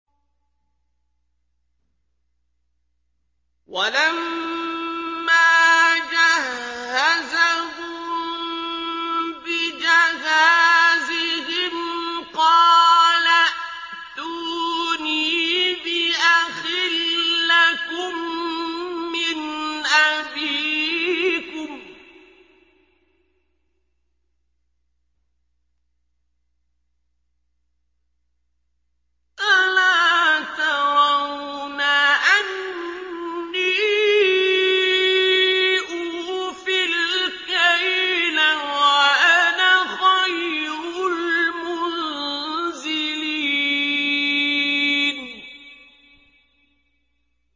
وَلَمَّا جَهَّزَهُم بِجَهَازِهِمْ قَالَ ائْتُونِي بِأَخٍ لَّكُم مِّنْ أَبِيكُمْ ۚ أَلَا تَرَوْنَ أَنِّي أُوفِي الْكَيْلَ وَأَنَا خَيْرُ الْمُنزِلِينَ